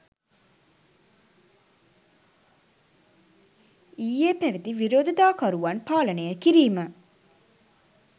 ඊයේ පැවැති විරෝධතාකරුවන් පාලනය කිරීම